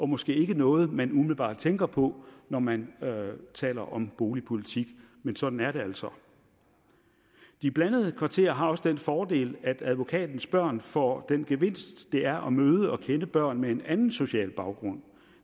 måske ikke noget man umiddelbart tænker på når man taler om boligpolitik men sådan er det altså de blandede kvarterer har også den fordel at advokatens børn får den gevinst det er at møde og kende børn med en anden social baggrund